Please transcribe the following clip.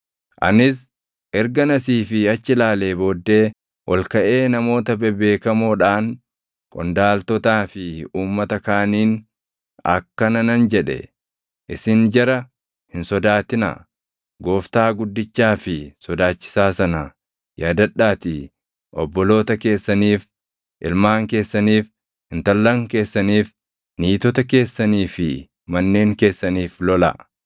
Anis ergan asii fi achi ilaalee booddee ol kaʼee namoota bebeekamoodhaan, qondaaltotaa fi uummata kaaniin akkana nan jedhe; “Isin jara hin sodaatinaa. Gooftaa guddichaa fi sodaachisaa sana yaadadhaatii obboloota keessaniif, ilmaan keessaniif, intallan keessaniif, niitota keessanii fi manneen keessaniif lolaa.”